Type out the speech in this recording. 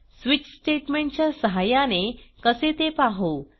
switch statement च्या सहाय्याने कसे ते पाहू